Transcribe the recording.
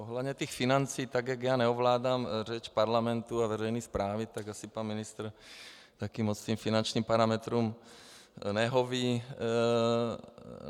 Ohledně těch financí, tak jak já neovládám řeč parlamentu a veřejné správy, tak asi pan ministr taky moc těm finančním parametrům nehoví.